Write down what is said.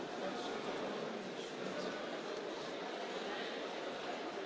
Colleagues, it is a pleasure to welcome the President of Angola,